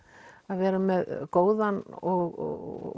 vera með góðan og